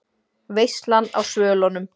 VEISLAN Á SVÖLUNUM